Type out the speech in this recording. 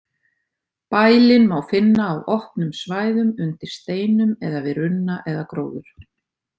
Bælin má finna á opnum svæðum, undir steinum eða við runna eða gróður.